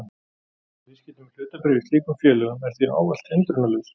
Viðskipti með hlutabréf í slíkum félögum er því ávallt hindrunarlaus.